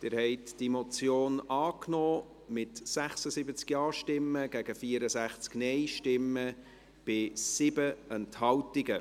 Sie haben diese Motion angenommen, mit 76 Ja- gegen 64 Nein-Stimmen bei 7 Enthaltungen.